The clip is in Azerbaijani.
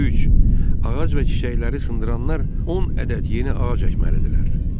Üç, ağac və çiçəkləri sındıranlar 10 ədəd yeni ağac əkməlidirlər.